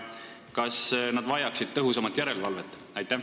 Kas nad vajaksid tõhusamat järelevalvet?